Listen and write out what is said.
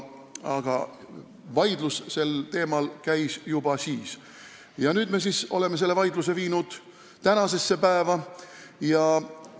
Aga vaidlus sel teemal käis juba siis ja nüüd oleme selle vaidluse tänasesse päeva toonud.